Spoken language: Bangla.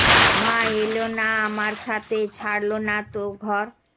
মা এলো না আমার সাথে ছাড়লো না তো ঘর